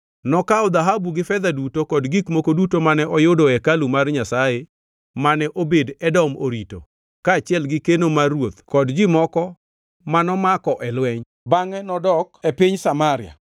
Nokawo dhahabu gi fedha duto kod gik moko duto mane oyudo e hekalu mar Nyasaye mane Obed-Edom orito kaachiel gi keno mar ruoth kod ji moko mano mako e lweny, bangʼe nodok e piny Samaria.